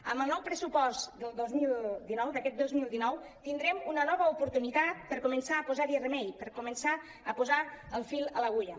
amb el nou pressupost del dos mil dinou d’aquest dos mil dinou tindrem una nova oportunitat per començar a posar·hi remei per començar a po·sar el fil a l’agulla